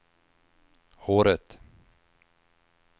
håret